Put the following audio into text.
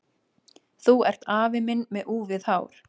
Þú ert afi minn með úfið hár!